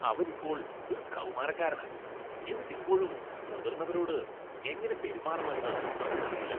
അവൻ ഇപ്പോൾ ഒരു കൗമാരക്കാരനാ, എന്നിട്ട് ഇപ്പോഴും മുതിർന്നവരോട് എങ്ങനെ പെരുമാറണമെന്ന് അവന് അറിയില്ല